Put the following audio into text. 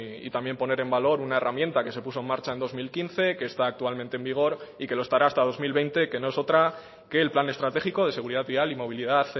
y también poner en valor una herramienta que se puso en marcha en dos mil quince que está actualmente en vigor y que lo estará hasta dos mil veinte que no es otra que el plan estratégico de seguridad vial y movilidad